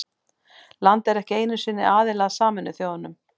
Landið er ekki einu sinni aðili að Sameinuðu þjóðunum.